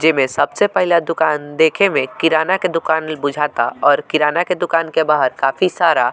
जे में सबसे पहले दुकान देखे में किराना के दुकान बुझाता और किराना के दुकान के बाहर काफी सारा --